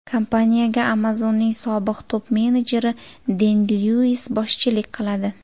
Kompaniyaga Amazon’ning sobiq top-menejeri Den Lyuis boshchilik qiladi.